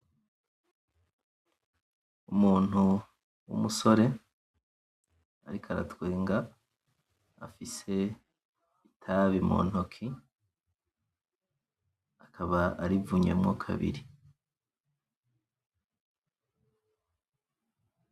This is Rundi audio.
Umuntu wumusore, ariko aratwenga afise itabi muntoki, akaba arivunyemo kabiri.